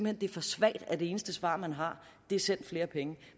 at det er for svagt at det eneste svar man har er send flere penge